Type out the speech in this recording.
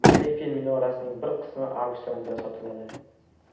Eyfel minorasining bir qismi auksionda sotiladi.